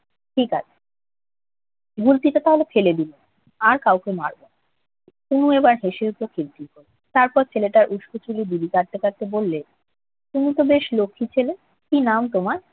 ঠিক আছে। গুলতিটা তাহলে ফেলে দিলাম। আর কাউকে মারব না। তনু এবার হেসে উঠল খিল খিল করে। তারপর ছেলেটার উস্কো চুলে বিলি কাটতে কাটতে বললে, তুমি তো বেশ লক্ষ্মী। কি নাম তোমার?